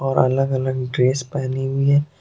और अलग अलग ड्रेस पहनी हुई है।